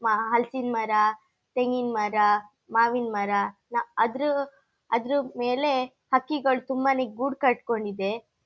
ಮಹಾ ಹಲ್ಸಿನ್ ಮರ ತೆಂಗಿನ ಮರ ಮಾವಿನ ಮರ ನಾ ಅದ್ರ್ ಅದ್ರಮೇಲೆ ಹಕ್ಕಿಗಳು ತುಂಬಾನೇ ಗೂಡ್ ಕಟ್ಕೊಂಡಿದೆ.